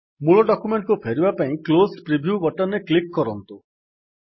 ମୂଳ ଡକ୍ୟୁମେଣ୍ଟ୍ କୁ ଫେରିବା ପାଇଁ କ୍ଲୋଜ୍ ପ୍ରିଭ୍ୟୁ ବଟନ୍ ରେ କ୍ଲିକ୍ କରନ୍ତୁ